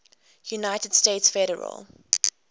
united states federal